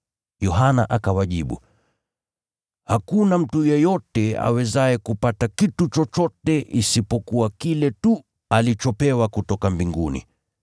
Yohana akawajibu, “Hakuna mtu yeyote awezaye kupata kitu chochote isipokuwa kile tu alichopewa kutoka mbinguni.